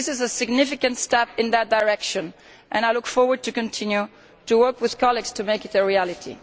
This is a significant step in that direction and I look forward to continuing to work with colleagues to make it a reality.